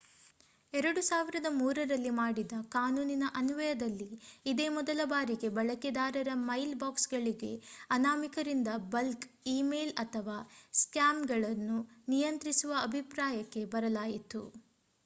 2003ರಲ್ಲಿ ಮಾಡಿದ ಕಾನೂನಿನ ಅನ್ವಯದಲ್ಲಿ ಇದೇ ಮೊದಲ ಬಾರಿಗೆ ಬಳಕೆದಾರರ ಮೈಲ್ ಬಾಕ್ಸ್‌ಗಳಿಗೆ ಅನಾಮಿಕರಿಂದ ಬಲ್ಕ್ ಈ ಮೇಲ್ ಅಥವಾ ಸ್ಪ್ಯಾಮ್‌ಗಳನ್ನು ನಿಯಂತ್ರಿಸುವ ಅಭಿಪ್ರಾಯಕ್ಕೆ ಬರಲಾಯಿತು